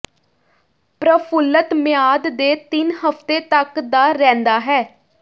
ਪ੍ਰਫੁੱਲਤ ਮਿਆਦ ਦੇ ਤਿੰਨ ਹਫ਼ਤੇ ਤੱਕ ਦਾ ਰਹਿੰਦਾ ਹੈ